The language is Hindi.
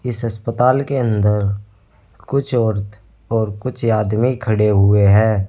इस अस्पताल के अंदर कुछ औरत और कुछ आदमी खड़े हुए हैं।